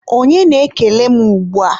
onye na-ekele m ugbua?